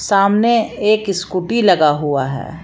सामने एक स्कूटी लगा हुआ है।